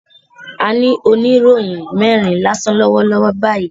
A ní oníròyìn mẹ́rin lásán lọ́wọ́ lọ́wọ́ báyìí